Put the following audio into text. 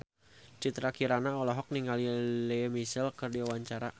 Citra Kirana olohok ningali Lea Michele keur diwawancara